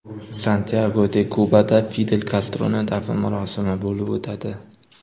Santyago-de-Kubada Fidel Kastroning dafn marosimi bo‘lib o‘tadi.